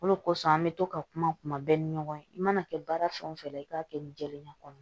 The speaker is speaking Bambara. O de kosɔn an be to ka kuma kuma bɛɛ ni ɲɔgɔn ye i mana kɛ baara fɛn o fɛn la i k'a kɛ nin jɛlenya kɔnɔ